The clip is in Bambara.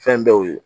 Fɛn dɔw ye